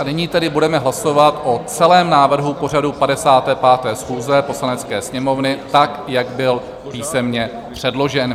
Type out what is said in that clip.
A nyní tedy budeme hlasovat o celém návrhu pořadu 55. schůze Poslanecké sněmovny tak, jak byl písemně předložen.